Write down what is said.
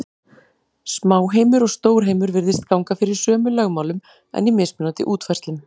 Smáheimur og stórheimur virðist ganga fyrir sömu lögmálum, en í mismunandi útfærslum.